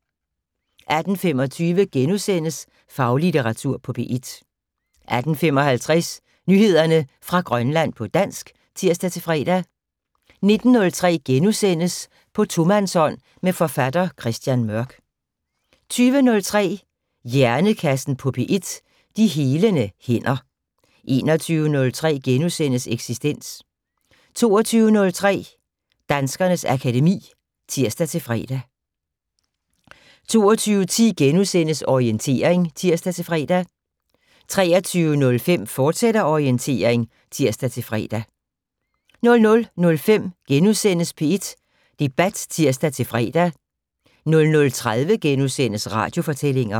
18:25: Faglitteratur på P1 * 18:55: Nyheder fra Grønland på dansk (tir-fre) 19:03: På tomandshånd med forfatter Christian Mørk * 20:03: Hjernekassen på P1: De helende hænder 21:03: Eksistens * 22:03: Danskernes akademi (tir-fre) 22:10: Orientering *(tir-fre) 23:05: Orientering, fortsat (tir-fre) 00:05: P1 Debat *(tir-fre) 00:30: Radiofortællinger *